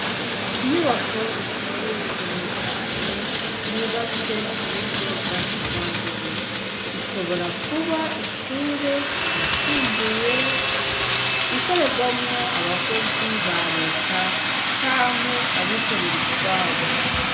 Inyubako iteye igomwe cane yubatswe ku buryo bwa kijambere. Ishobora kuba ishure ryisumbuye, ikoreramwo abakozi ba Leta canke abikorera utwabo.